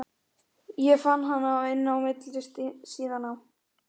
Ég fann hana inni á milli síðnanna.